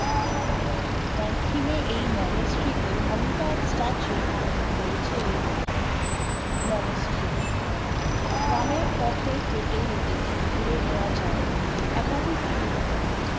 মঙ্কিমে এই মনস্রিতে অমিতাব statue নামে রয়েছে এই মনস্রিতে, গ্রামের পথে হেটে হেঁটেই ঘুরে নেওয়া যাই একাধিক view point